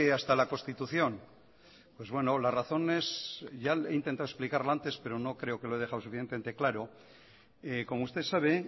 hasta la constitución pues bueno la razón es ya he intentado explicarlo antes pero no creo que lo he dejado suficientemente claro como usted sabe